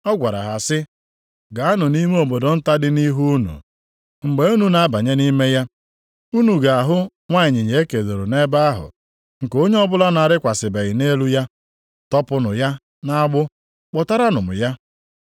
Ọ gwara ha sị, “Gaanụ nʼime obodo nta dị nʼihu unu. Mgbe unu na-abanye nʼime ya, unu ga-ahụ nwa ịnyịnya e kedoro nʼebe ahụ nke onye ọbụla na-arịkwasịbeghị nʼelu ya. Tọpụnụ ya nʼagbụ, kpụtaranụ m ya.